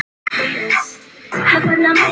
Hún er þá svona!